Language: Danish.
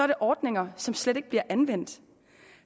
der ordninger som slet ikke bliver anvendt